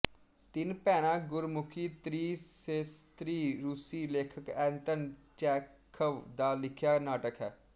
ਤਿੰਨ ਭੈਣਾਂ ਗੁਰਮੁਖੀ ਤ੍ਰੀ ਸੇਸਤਰੀ ਰੂਸੀ ਲੇਖਕ ਐਂਤਨ ਚੈਖਵ ਦਾ ਲਿਖਿਆ ਨਾਟਕ ਹੈ